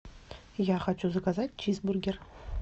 я хочу заказать чизбургер